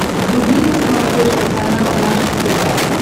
вруби на смотрешке канал наше тв